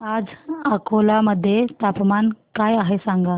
आज अकोला मध्ये तापमान काय आहे सांगा